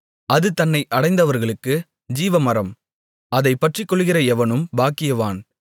அது தன்னை அடைந்தவர்களுக்கு ஜீவமரம் அதைப் பற்றிக்கொள்ளுகிற எவனும் பாக்கியவான்